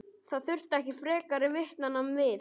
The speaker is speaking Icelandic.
Það þurfti ekki frekari vitnanna við.